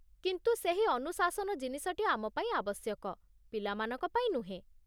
କିନ୍ତୁ ସେହି ଅନୁଶାସନ ଜିନିଷଟି ଆମ ପାଇଁ ଆବଶ୍ୟକ, ପିଲାମାନଙ୍କ ପାଇଁ ନୁହେଁ।